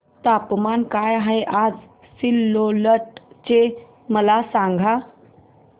तापमान काय आहे आज सिल्लोड चे मला सांगा